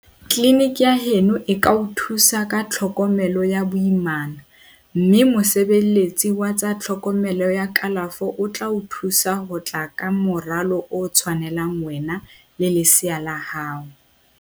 Tleliniki ya heno e ka o thusa ka tlhokomelo ya boimana mme mosebeletsi wa tsa tlhokomelo ya kalafo o tla o thusa ho tla ka moralo o tshwanelang wena le lesea la hao.